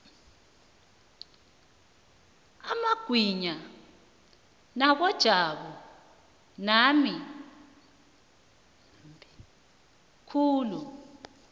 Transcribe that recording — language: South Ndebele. amagwinya wakojabu mambi khulu